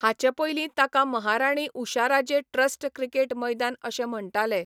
हाचे पयलीं ताका महाराणी उषाराजे ट्रस्ट क्रिकेट मैदान अशें म्हण्टाले.